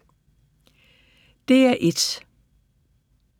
DR1